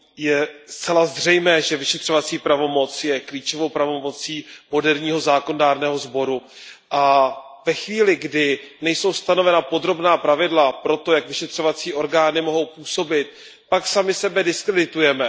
Je zcela zřejmé, že vyšetřovací pravomoc je klíčovou pravomocí moderního zákonodárného sboru a ve chvíli, kdy nejsou stanovena podrobná pravidla pro to, jak vyšetřovací orgány mohou působit, pak sami sebe diskreditujeme.